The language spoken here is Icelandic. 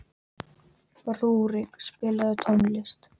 Rúrik, spilaðu tónlist.